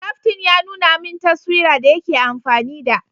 Kaftin ya nuna min taswira da yake amfani da